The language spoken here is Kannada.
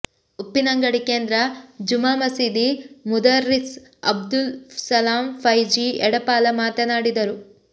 ಉಪ್ಪಿನಂಗಡಿ ಕೇಂದ್ರ ಜುಮಾ ಮಸೀದಿ ಮುದರ್ರಿಸ್ ಅಬ್ದುಲ್ ಸಲಾಂ ಫೈಝಿ ಎಡಪಾಲ ಮಾತನಾಡಿದರು